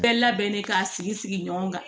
Bɛɛ labɛnnen ka sigi sigi ɲɔgɔn kan